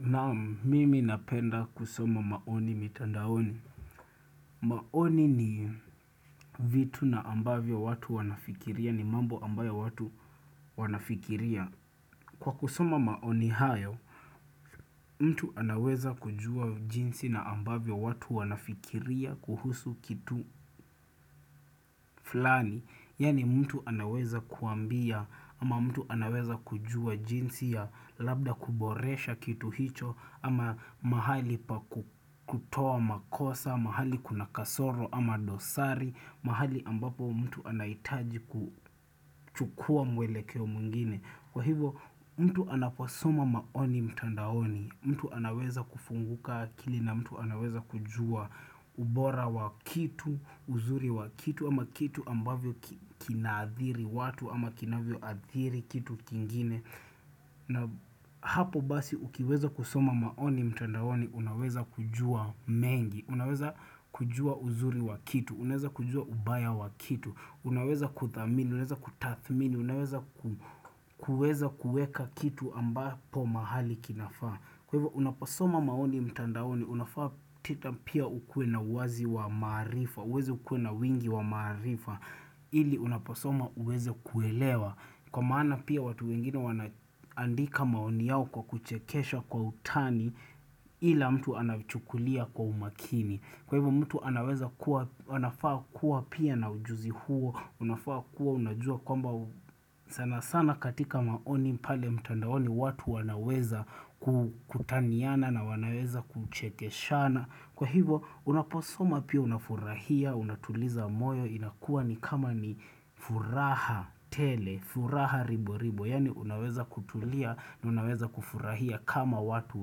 Naam mimi napenda kusoma maoni mitandaoni. Maoni ni vitu na ambavyo watu wanafikiria ni mambo ambayo watu wanafikiria. Kwa kusoma maoni hayo, mtu anaweza kujua jinsi na ambavyo watu wanafikiria kuhusu kitu flani. Yani mtu anaweza kuambia ama mtu anaweza kujua jinsi ya labda kuboresha kitu hicho ama mahali pa kutowa makosa, mahali kuna kasoro ama dosari, mahali ambapo mtu anaitaji kuchukua mwele keo mungine. Kwa hivyo mtu anaposoma maoni mtandaoni, mtu anaweza kufunguka akili na mtu anaweza kujua ubora wa kitu, uzuri wa kitu ama kitu ambavyo kinadhiri watu ama kinavyo adhiri kitu kingine. Na hapo basi ukiweza kusoma maoni mtandaoni unaweza kujua mengi, unaweza kujua uzuri wa kitu, unaweza kujua ubaya wa kitu, unaweza kuthamini, unaweza kutathmini, unaweza kueza kueka kitu ambapo mahali kinafaa. Kwa hivyo unapasoma maoni mtandaoni, unafaa tita pia ukue na wazi wa marifa, uweze ukue na wingi wa marifa, ili unapasoma uweze kuelewa. Kwa maana pia watu wengine wanaandika maoni yao kwa kuchekesha kwa utani ila mtu anachukulia kwa umakini. Kwa hivyo mtu anaweza kuwa, wanafaa kuwa pia na ujuzi huo, unafaa kuwa, unajua kwamba sana sana katika maoni mpale mtandaoni, watu wanaweza kutaniana na wanaweza kuchekeshana. Kwa hivyo unaposoma pia unafurahia, unatuliza moyo, inakuwa ni kama ni furaha tele, furaha ribo ribo, yani unaweza kutulia na unaweza kufurahia kama watu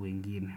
wengine.